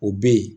O bɛ ye